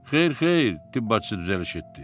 Xeyr, xeyr, tibb bacısı düzəliş etdi.